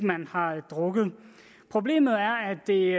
har drukket problemet er at det